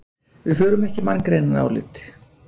Við förum ekki í manngreinarálit